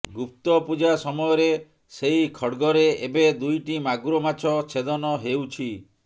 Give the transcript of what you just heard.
ଗୁପ୍ତ ପୂଜା ସମୟରେ ସେହି ଖଡ୍ଗରେ ଏବେ ଦୁଇଟି ମାଗୁର ମାଛ ଛେଦନ ହେଉଛି